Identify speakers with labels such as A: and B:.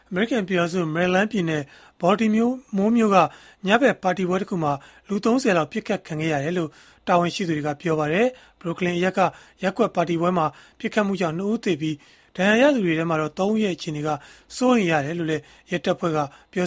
A: အမေရိကန် ပြည်ထောင်စု မေရီလန်းပြည်နယ်၊ ဘော်လတီမိုးမြို့က ညဘက်ပါတီပွဲတခုမှာ လူ ၃၀ လောက် ပစ်ခတ်ခံခဲ့ရတယ်လို့ တာဝန်ရှိသူတွေက ပြောပါတယ်။ Brooklyn အရပ်က ရပ်ကွက်ပါတီပွဲမှာ ပစ်ခတ်မှုကြောင့် ၂ ဦးသေဆုံးပြီး၊ ဒဏ်ရာရသူတွေထဲမှာ ၃ ဦးရဲ့ အခြေအနေက စိုးရိမ်ရ
B: တယ်လို့လည်း ရဲတပ်ဖွဲ့က ပြော